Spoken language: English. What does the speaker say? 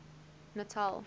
natal